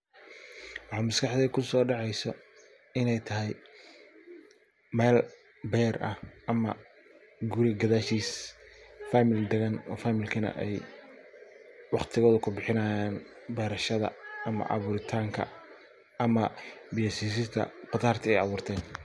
Waxa maskaxdeyda kuso dacesa ney tahay mel ber ah ama guri gadashis familkana waqtigoda kubihinayan berashada ama aburitanka ama biya sisinta khudarta ay aburten.